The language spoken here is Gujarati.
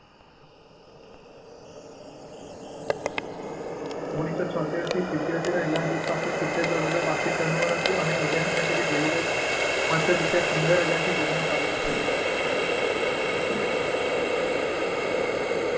ઓગણીસો છોંતેર સિત્યોતેર રીલાયન્સ જૂથ પાસે સીતેર કરોડ રૂપિયા વાર્ષિક ટર્નઓવર હતું અને અત્રે ઉલ્લેખનીય છે કે ધીરુભાઈએ માત્ર રૂપિયા પંદર હજારથી પોતાનો કારોબાર શરૂ કર્યો હતો.